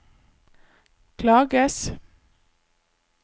klages